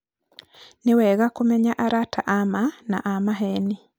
nĩwega kũmenya arata a ma na a maheni